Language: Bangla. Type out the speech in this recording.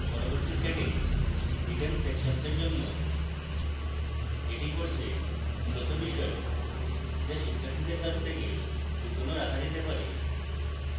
পরবর্তী setting hidden sections এর জন্য